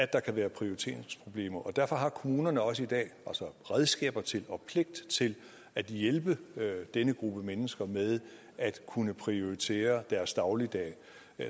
der kan være prioriteringsproblemer og derfor har kommunerne også i dag redskaber til og pligt til at hjælpe denne gruppe mennesker med at kunne prioritere deres dagligdag